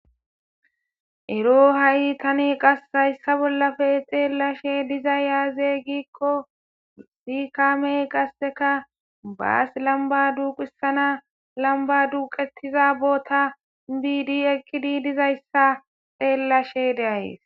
ero ha7i tani qasse hayssa bollafe xeellashe dizay yaazeygiikko si kaamey qasseka baas lamba duuqissana lamba duuqetiza boota biidi ekkidi dizayssa xeellashe deayes